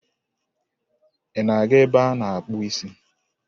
Ị na-aga ebe a na-akpụ isi?